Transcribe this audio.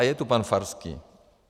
A je tu pan Farský.